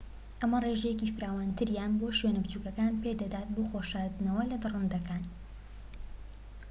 ئەمە ڕێژەیەکی فراوانتریان بۆ شوێنە بچووكەکان پێدەدات بۆ خۆ شاردنەوە لە دڕندەکان